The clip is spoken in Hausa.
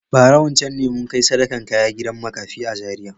Bara wancan ne mun kai sadakan kaya gida makafi a Zariya.